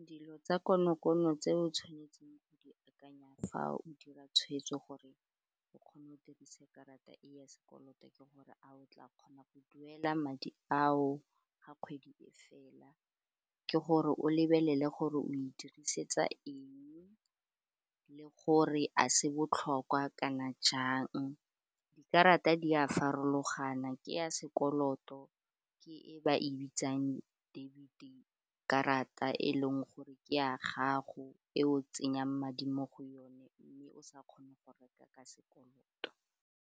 Dilo tsa konokono tse o tshwanetseng o di akanya fa o dira tshweetso gore o kgone o dirise karata ya sekoloto ke gore a o tla kgona go duela madi ao ga kgwedi e fela ke gore o lebelele gore o e dirisetsa eng le gore a se botlhokwa kana jang dikarata di a farologana ke ya sekoloto ke e ba e bitsang debit-e, karata e leng gore ke a gago e o tsenyang madi mo go yone mme o sa kgone go reka ka sekoloto.